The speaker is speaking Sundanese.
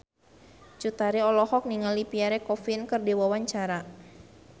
Cut Tari olohok ningali Pierre Coffin keur diwawancara